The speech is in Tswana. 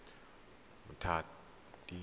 mmatladi